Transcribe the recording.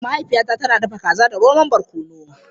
Mahaifiyata tana dafa kaza da romon barkono.